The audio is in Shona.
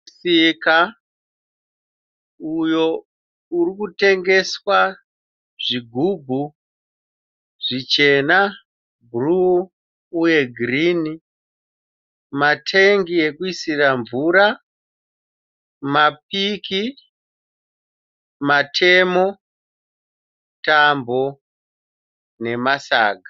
Musika uyo uri kutengeswa zvigubhu zvichena, bhuruu uye girini, matengi ekuisira mvura, mapiki , matemo, tambo nemasaga.